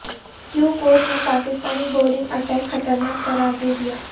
kiwi coach نے Pakistani bowling attack خطرناک قرار دیدیا